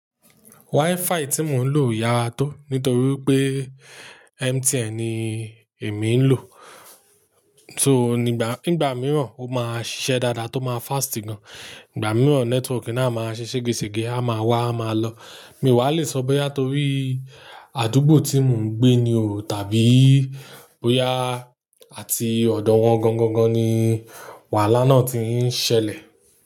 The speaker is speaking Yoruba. WiFi tí mò ń lò yára tó nítorí pé MTN ni èmi ń lò. So nígbà, nígbà mìíràn ó máa ṣiṣẹ́ dáadáa tó máa fast gan. Ìgbà mìíràn nẹ́tíwọ̀kì náà máa ṣe ṣégesège, a máa wá a máa lọ. Mi wàá lè sọ bóyá torí àdúgbò tí mò ń gbé ni o tàbí bóyá àti ọ̀dọ̀ wọn gan gangan ni wàhálà náà ti ń ṣẹlẹ̀